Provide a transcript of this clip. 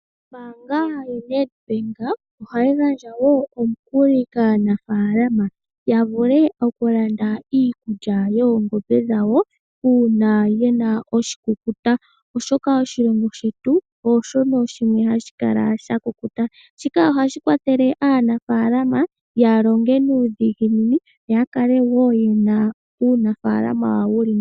Ombaanga yo Netbank ohayi gandja omukuli kaanafalama yavule okulanda iikulya yoongombe dhawo uuna yena oshikukuta oshoka oshilongo shetu ooshoka shimwe hashi kala shakukuta, shika ohashi kwathele aanafaalama yalonge nuudhiginini yo yakale yena uunafaalama wawo wuli nawa.